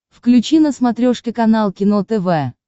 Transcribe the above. включи на смотрешке канал кино тв